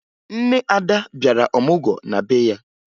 Nne Ada bịara ọmụgwọ na be ya